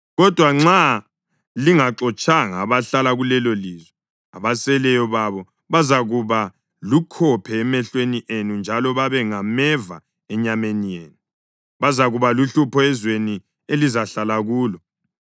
Kodwa nxa lingaxotshanga abahlala kulelolizwe, abaseleyo babo bazakuba lukhophe emehlweni enu njalo babe ngameva enyameni yenu. Bazakuba luhlupho ezweni elizahlala kulo.